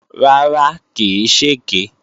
Rárá, kì í ṣèké